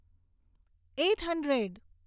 eight hundred